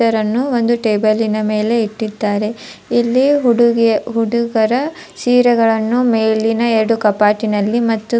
ಇದರನ್ನು ಒಂದು ಟೇಬಲಿನ ಮೇಲೆ ಇಟ್ಟಿದ್ದಾರೆ ಇಲ್ಲಿ ಹುಡಿಗಿಯ ಹುಡುಗರ ಸೀರೆಗಳನ್ನು ಮೇಲಿನ ಎರಡು ಕಪಾಟಿನಲ್ಲಿ ಮತ್ತು --